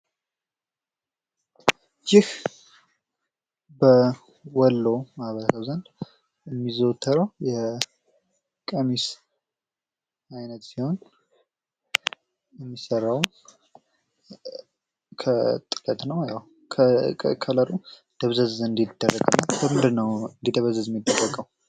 ይህ በወሎ ማህበረሰብ የሚለበስ የልብስ አይነት ነው እና ከለሩ ደብዘዝ እንዲል ተደርጎ ነው የሚሰራው። ለምንድነው ደብዘዝ እንዲል ተደርጎ የተሰራው?